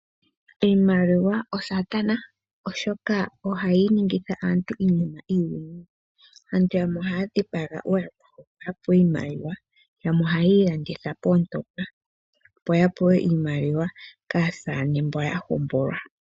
Iimaliwa osaatana oshoka ohayi ningitha aantu iinima iiwinayi, aantu yamwe ohaya dhipaga ooyakwawo opo yapewe iimaliwa, yamwe oha yiilanditha poontopa opo yapewe iimaliwa kaasaane mba yahombola.